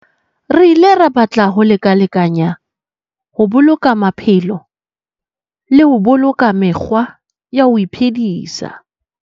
Re ile ra batla ho lekalekanyana ho boloka maphelo le ho boloka mekgwa ya ho iphedisa.